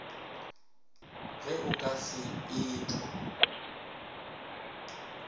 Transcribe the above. ge o ka se etho